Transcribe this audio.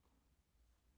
DR P2